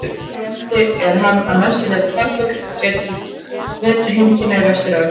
Hér á landi er hann að mestu leyti farfugl og fer til vetrarheimkynna í Vestur-Evrópu.